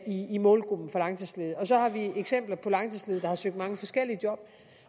i i målgruppen af langtidsledige så har vi eksempler på langtidsledige der har søgt mange forskellige job